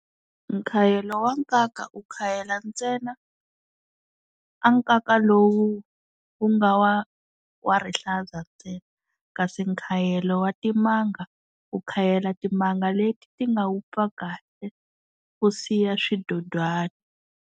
Nkhayelo wa nkaka u khayela ntsena a nkaka lowu wu nga wa wa rihlaza ntsena, kasi nkhayelo wa timanga u khayela timanga leti ti nga wupfa kahle u siya swidodwana.